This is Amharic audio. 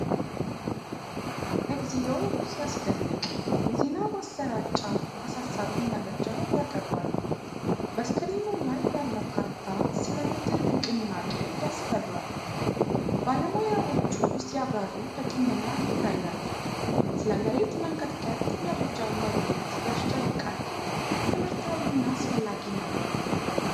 እግዚኦ ሲያስደንቅ! የዜና ማሰራጫው አሳሳቢ መረጃ ያቀርባል። በስክሪኑ ላይ ያለው ካርታ ስለ ምድር ንቅናቄ ያስፈራል። ባለሙያዎቹ ሲያብራሩ በጥሞና ይታያሉ። ስለመሬት መንቀጥቀጥ መረጃ ማግኘት ያስጨንቃል። ትምህርታዊ እና አስፈላጊ ነው።